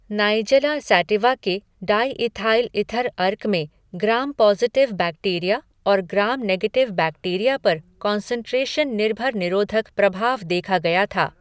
Nigella sativa के diethyl ether अर्क में ग्राम पॉज़िटिव बैक्टीरिया और ग्राम नेगेटिव बैक्टीरिया पर कॉन्सन्ट्रेशन निर्भर निरोधक प्रभाव देखा गया था।